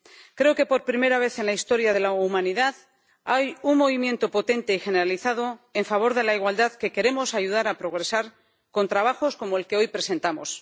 Creo que por primera vez en la historia de la humanidad hay un movimiento potente generalizado en favor de la igualdad que queremos ayudar a que progrese con trabajos como el que hoy presentamos.